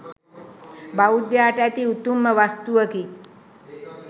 බෞද්ධයාට ඇති උතුම්ම වස්තුවකි